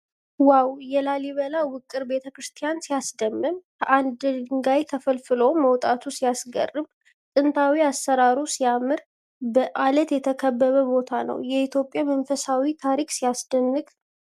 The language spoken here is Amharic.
ዋው ! የላሊበላ ውቅር ቤተክርስቲያን ሲያስደምም ! ከአንድ ድንጋይ ተፈልፍሎ መውጣቱ ሲያስገርም ! ጥንታዊው አሠራር ሲያምር ። በዓለት የተከበበ ቦታ ነው ። የኢትዮጵያ መንፈሳዊ ታሪክ ሲያስደንቅ !